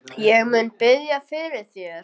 Ég mun biðja fyrir þér.